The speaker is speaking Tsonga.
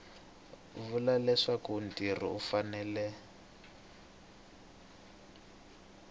vula leswaku mutirhi u fanele